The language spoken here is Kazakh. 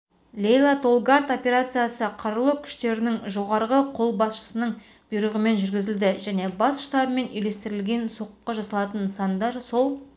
лейлатолгард операциясы қарулы күштердің жоғарғы қолбасшысының бұйрығымен жүргізілді және бас штабымен үйлестірілген соққы жасалатын нысандар сол